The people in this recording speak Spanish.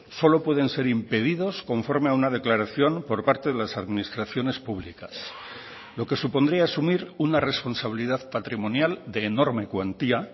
solo pueden ser impedidos conforme a una declaración por parte de las administraciones públicas lo que supondría asumir una responsabilidad patrimonial de enorme cuantía